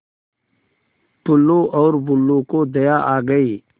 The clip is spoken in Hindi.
टुल्लु और बुल्लु को दया आ गई